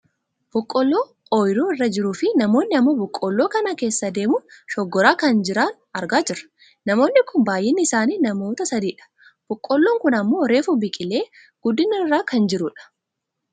Boqqoolloo ooyiruu irra jiruufi namoonni ammoo boqqoolloo kana keessa deemuun shooggaraa kan jira argaa jirra. Namoonni kun baayyinni isaanii namoota sadidha. Boqqoolloon kun ammoo reefu biqilee guddina irra kan jirudha.